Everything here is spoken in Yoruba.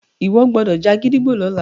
ìwo gbódò já gídígbò lọla!